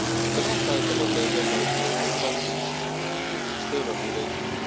The last item on the agenda of the European Council is external relations.